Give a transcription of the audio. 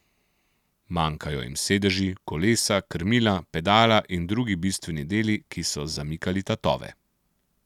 Manjkajo jim sedeži, kolesa, krmila, pedala in drugi bistveni deli, ki so zamikali tatove.